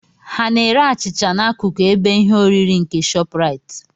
Ha n'ere achịcha n'akụkụ ebe ihe oriri nke ShopRite?